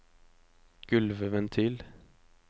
gulvventil